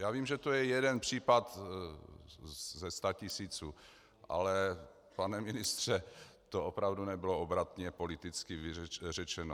Já vím, že to je jeden případ ze statisíců, ale pane ministře, to opravdu nebylo obratně politicky řečeno.